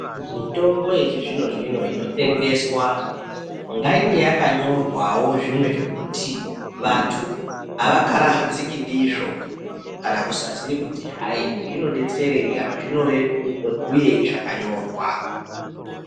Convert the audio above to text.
Mitombo yechizvino zvino inotengeswa ngainge yakanyorwawo zvimwe zvekuti vantu avakarahadzike ndizvo kana kusaziye kuti hayi zvinodetsereyi kana zvinobhuyeyi zvakanyorwa